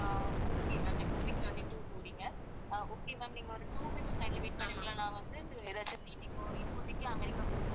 okay ma'am next week twenty-two போறீங்க அஹ் okay ma'am நீங்க ஒரு two minutes line ல wait பண்ணுறீங்களா நான் வந்து எதாச்சும் seat இப்போ இப்போதைக்கு அமெரிக்கா போறதுக்கு